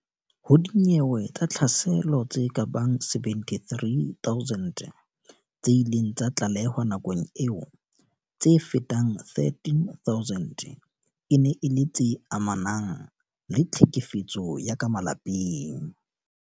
Ho dinyewe tsa tlhaselo tse kabang 73 000 tse ileng tsa tlalehwa nakong eo, tse fetang 13000 e ne e le tse amanang le tlhekefetso ya ka malapeng.